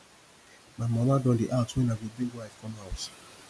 my mama don dey ask when i go bring wife come house